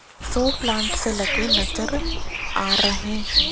show plants लगे नजर आ रहे--